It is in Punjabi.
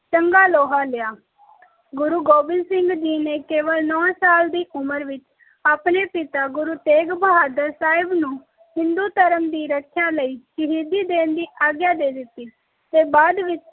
ਚੰਗਾ ਲੋਹਾ ਲਿਆ ਗੁਰੂ ਗੋਬਿੰਦ ਸਿੰਘ ਜੀ ਨੇ ਕੇਵਲ ਨਾਉ ਸਾਲ ਦੀ ਉਮਰ ਵਿਚ ਆਪਣੇ ਪਿਤਾ ਗੁਰੂ ਤੇਗ਼ ਬਹਾਦਰ ਸਾਹਿਬ ਨੂੰ ਹਿੰਦੂ ਧਰਮ ਦੀ ਰੱਖਿਆ ਲਾਇ ਸ਼ਹੀਦੀ ਦੇਣ ਦੀ ਆਗਯਾ ਦੇ ਦਿੱਤੀ ਤੇ ਬਾਅਦ ਵਿਚ